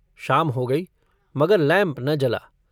शाम हो गई मगर लैम्प न जला।